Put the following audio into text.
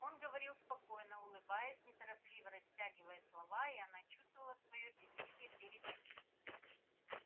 он говорил спокойно улыбаясь неторопливо растягивая слова и она чувствовала своё бессилие перед ним